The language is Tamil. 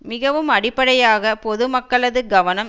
மிகவும் அடிப்படையாக பொது மக்களது கவனம்